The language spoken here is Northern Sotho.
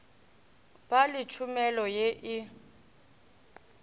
ba le tšhomelo ye e